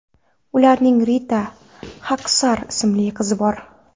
Ularning Rita Xaksar ismli qizi bor.